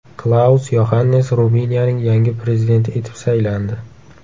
Klaus Yoxannis Ruminiyaning yangi prezidenti etib saylandi.